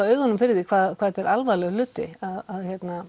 augunum fyrir því hvað þetta er alvarlegur hluti að